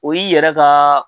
O y'i yɛrɛ ka